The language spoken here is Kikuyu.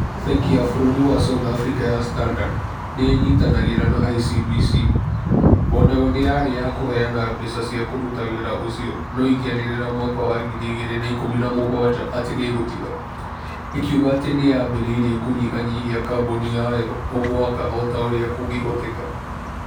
Bengi ya bũrũri wa South Africa ya Standard, nĩ ĩnyitanagĩra na ICBC. o nayo nĩ yarĩ ya kũheana mbeca cia kũruta wĩra ũcio no ĩkĩanĩrĩra mwaka wa 2017 atĩ nĩ ĩgũtiga. ĩkiuga atĩ nĩ yambĩrĩirie kũnyihanyihia kaboni yayo o mwaka o ta ũrĩa kũngĩhoteka.